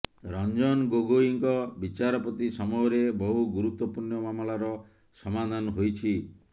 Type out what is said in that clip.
ରଞ୍ଜନ ଗୋଗୋଇଙ୍କ ବିଚାରପତି ସମୟରେ ବହୁ ଗୁରୁତ୍ତ୍ୱପୂର୍ଣ୍ଣ ମାମଲାର ସମାଧାନ ହୋଇଛି